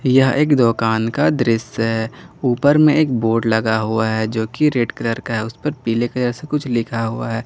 यह एक दुकान का दृश्य है ऊपर में एक बोर्ड लगा हुआ है जोकि रेड कलर का है उसपर पीले कलर से कुछ लिखा हुआ है।